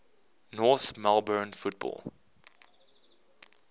north melbourne football